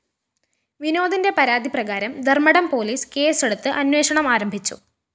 വിനോദിന്റെ പരാതി പ്രകാരം ധര്‍മ്മടം പോലീസ് കേസെടുത്ത് അന്വേഷണം ആരംഭിച്ചു